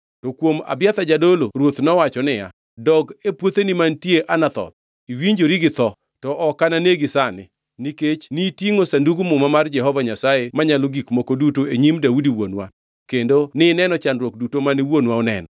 To kuom Abiathar jadolo, ruoth nowacho niya, “Dog e puotheni mantie Anathoth. Iwinjori gi tho, to ok ananegi sani, nikech nitingʼo Sandug Muma mar Jehova Nyasaye Manyalo Gik Moko Duto e nyim Daudi wuonwa kendo nineno chandruok duto mane wuonwa oneno.”